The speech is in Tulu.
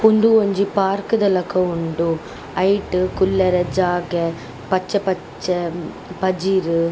ಉಂದು ಒಂಜಿ ಪಾರ್ಕ್ ದ ಲಕ ಉಂಡು ಐಟ್ ಕುಲ್ಲರೆ ಜಾಗೆ ಪಚ್ಚೆ ಪಚ್ಚೆ ಪಜಿರ್.